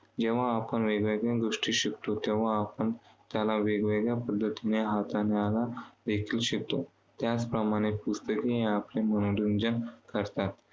जेव्हा आपण वेगवेगळ्या गोष्टी शिकतो, तेव्हा आपण त्याला वेगवेगळ्या पद्धतीने हाताळण्याला देखील शिकतो. त्याचप्रमाणे पुस्तके आपले मनोरंजन करतात.